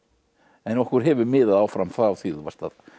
en okkur hefur miðað áfram frá því þú varst